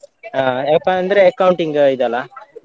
ಆ ಯಾಕಂದ್ರೆ accounting ಇದಲ್ಲ.